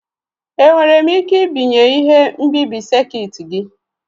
Enwere m ike ibinye ihe nbibi sekit gị?